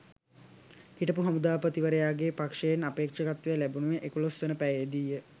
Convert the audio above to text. හිටපු හමුදාපතිවරයාගේ පක්ෂයෙන් අපේක්ෂකත්වය ලැබුවේ එකොළොස්වන පැයේ දීය